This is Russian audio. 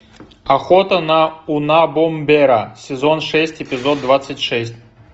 охота на унабомбера сезон шесть эпизод двадцать шесть